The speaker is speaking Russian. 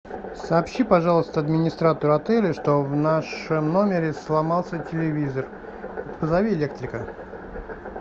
сообщи пожалуйста администратору отеля что в нашем номере сломался телевизор и позови электрика